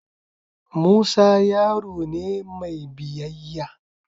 Musa yaro ne mai biyayya.